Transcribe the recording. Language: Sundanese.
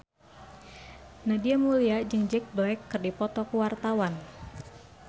Nadia Mulya jeung Jack Black keur dipoto ku wartawan